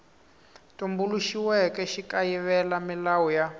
tumbuluxiweke xi kayivela milawu ya